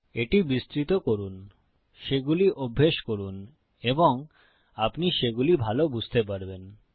এটি বিস্তৃত করুন সেগুলি অভ্যাস করুন এবং আপনি সেগুলি ভাল বুঝতে পারবেন